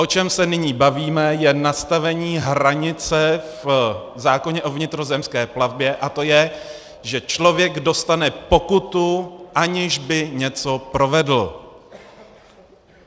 O čem se nyní bavíme, je nastavení hranice v zákoně o vnitrozemské plavbě, a to je, že člověk dostane pokutu, aniž by něco provedl.